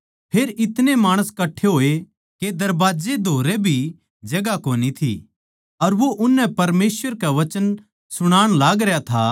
फेर इतणे माणस कट्ठे होए के दरबाजे धोरै भी जगहां कोनी थी अर वो उननै परमेसवर के वचन सुणाण लागरया था